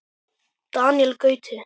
Daníel Gauti.